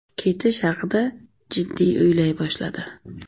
Ketish haqida jiddiy o‘ylay boshladi.